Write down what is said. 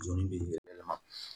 Joli bɛ yɛlɛ yɛlɛma